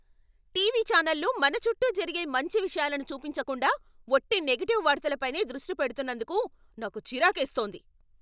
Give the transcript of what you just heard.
TV ఛానళ్లు మన చుట్టూ జరిగే మంచి విషయాలను చూపించకుండా ఒట్టి నెగెటివ్ వార్తలపైనే దృష్టి పెడుతున్నందుకు నాకు చిరాకేస్తోంది.